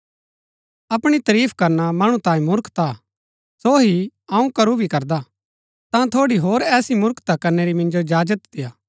अपणी तरीफ करना मणु तांये मूर्खता हा सो ही अऊँ करू भी करदा ता थोड़ी होर ऐसी मूर्खता करनै री मिन्जो इजाजत देय्आ